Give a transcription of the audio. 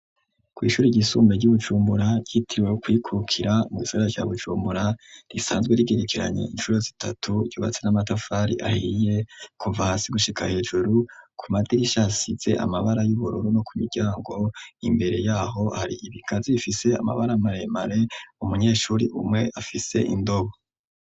Kw'ishuri ryisumbe ry'ubujumbura ryitiriwe kwikukira mwizara rya bujumbura risanzwe rigirikiranye incuro zitatu ryubatse n'amatafari ahiye kuva hasi gushika hejuru ku madirishasize amabara y'uburoro no ku miryango imbere yaho hari ibika zifise amabara maremare umunyeshuri umwe afise indobo.